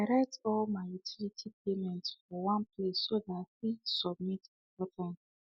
i write all my utility payments for one place so that i fit submit before time